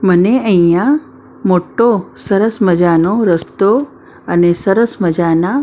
મને અહીંયા મોટો સરસ મજાનો રસ્તો અને સરસ મજાના--